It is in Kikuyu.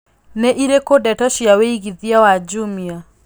nĩ ĩrĩkũ ndeto cia wĩigĩthĩa wa jumia